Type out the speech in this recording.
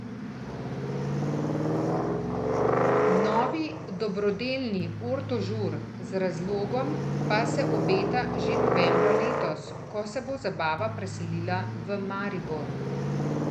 Novi dobrodelni Orto Žur z razlogom pa se obeta že novembra letos, ko se bo zabava preselila v Maribor.